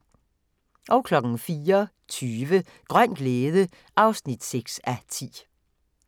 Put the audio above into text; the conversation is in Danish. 04:20: Grøn glæde (6:10)